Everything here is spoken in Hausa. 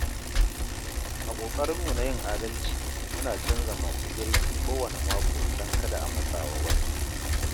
A ƙoƙarinmu na yin adalci, muna canza masu girki kowanne mako don kada a matsa wa wani.